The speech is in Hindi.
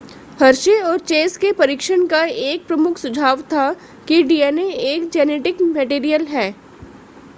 हर्शे और चेस के परीक्षण का एक प्रमुख सुझाव था कि dna एक जेनेटिक मटेरियल था